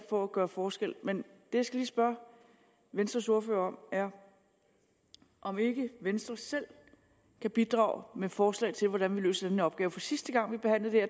for at gøre forskel men det skal spørge venstres ordfører om er om ikke venstre selv kan bidrage med forslag til hvordan vi løser den her opgave for sidste gang vi behandlede det